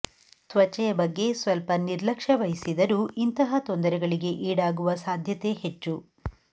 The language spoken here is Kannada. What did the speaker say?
ತ್ವಚೆಯ ಬಗ್ಗೆ ಸ್ವಲ್ಪ ನಿರ್ಲಕ್ಷ್ಯವಹಿಸಿದರೂ ಇಂತಹ ತೊಂದರೆಗಳಿಗೆ ಈಡಾಗುವ ಸಾಧ್ಯತೆ ಹೆಚ್ಚು